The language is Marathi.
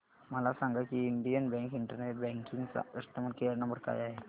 मला सांगा की इंडियन बँक इंटरनेट बँकिंग चा कस्टमर केयर नंबर काय आहे